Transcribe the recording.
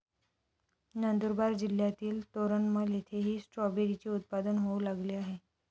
नंदुरबार जिल्हातील तोरणमल येथेही स्ट्रॉबेरीचे उत्पादन होऊ लागले आहे.